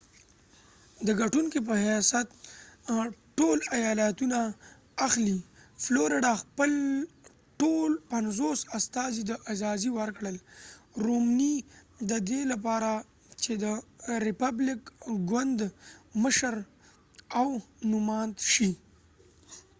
د ګټونکې په حیث ټول ایالتونه اخلی فلوریډا خپل ټول پنځوس استازی رومنی romney ته اعزازی ورکړل ددې لپاره چې د ریپبلکن ګوند مشر او نوماند شي